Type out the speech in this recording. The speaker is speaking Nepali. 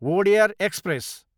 विवेक एक्सप्रेस